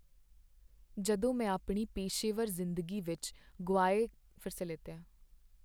ਜਦੋਂ ਮੈਂ ਆਪਣੀ ਪੇਸ਼ੇਵਰ ਜ਼ਿੰਦਗੀ ਵਿੱਚ ਗੁਆਏ ਗਏ ਮੌਕੀਆਂ ਬਾਰੇ ਸੋਚਦਾ ਹਾਂ ਤਾਂ ਮੈਂ ਨਿਰਾਸ਼ ਮਹਿਸੂਸ ਕਰਦਾ ਹਾਂ।